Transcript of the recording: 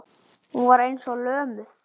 Hún var eins og lömuð.